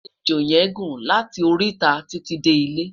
ẹjọ yen gún láti titi De ilé